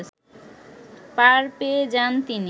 পার পেয়ে যান তিনি